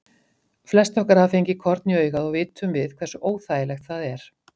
Flest okkar hafa fengið korn í augað og vitum við hversu óþægilegt það er.